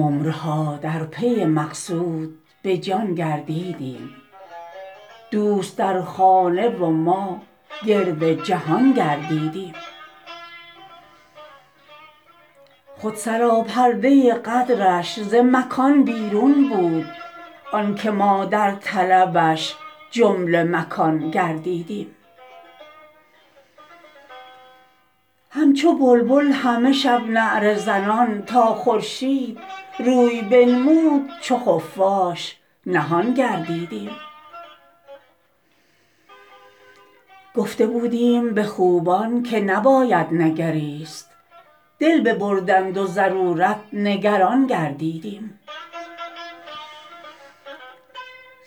عمرها در پی مقصود به جان گردیدیم دوست در خانه و ما گرد جهان گردیدیم خود سراپرده قدرش ز مکان بیرون بود آن که ما در طلبش جمله مکان گردیدیم همچو بلبل همه شب نعره زنان تا خورشید روی بنمود چو خفاش نهان گردیدیم گفته بودیم به خوبان که نباید نگریست دل ببردند و ضرورت نگران گردیدیم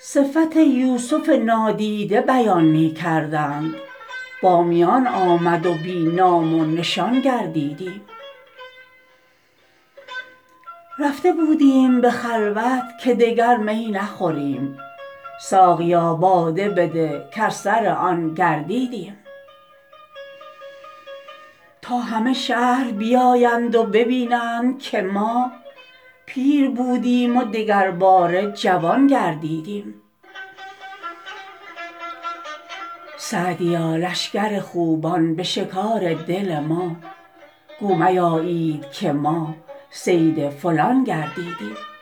صفت یوسف نادیده بیان می کردند با میان آمد و بی نام و نشان گردیدیم رفته بودیم به خلوت که دگر می نخوریم ساقیا باده بده کز سر آن گردیدیم تا همه شهر بیایند و ببینند که ما پیر بودیم و دگرباره جوان گردیدیم سعدیا لشکر خوبان به شکار دل ما گو میایید که ما صید فلان گردیدیم